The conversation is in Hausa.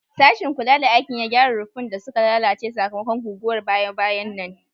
Sashin kula da aikin ya gyara ruffun da suka lalace sakamakon guguwar baya-bayan nan.